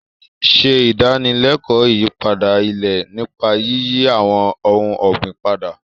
Ṣe ìdánilẹ́kọ̀ọ́ ìyípadà ilẹ̀ nípa yíyí àwọn ohun ọ̀gbìn padà.